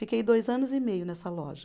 Fiquei dois anos e meio nessa loja.